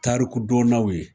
Tarikudonnaw ye